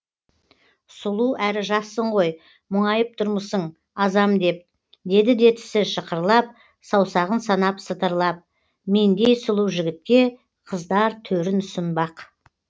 сұлу әрі жассың ғой мұңайып тұрмысың азам деп деді де тісі шықырлап саусағын санап сытырлап мендей сұлу жігітке қыздар төрін ұсынбақ